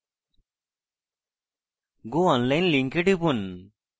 go online লিঙ্কে টিপুন